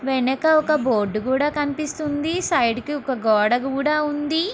వెనక ఒక బోర్డు కూడా కనిపిస్తుంది. సైడ్ కి ఒక గోడ కూడా ఉంది.